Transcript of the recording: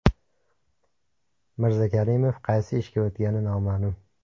Mirzakarimov qaysi ishga o‘tgani noma’lum.